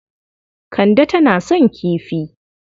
Kande tana son kifi.